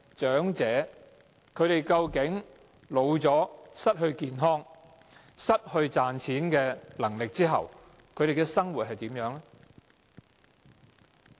長者年老健康欠佳，又失去賺錢能力，叫他們如何生活？